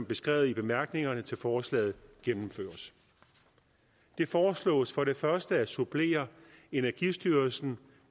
beskrevet i bemærkningerne til forslaget gennemføres det foreslås for det første at supplere energistyrelsen